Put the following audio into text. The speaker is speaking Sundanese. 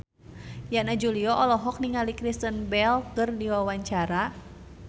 Yana Julio olohok ningali Kristen Bell keur diwawancara